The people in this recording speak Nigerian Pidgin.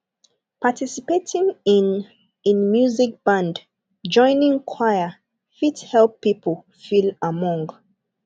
participating in in music band joining choir fit help pipo feel among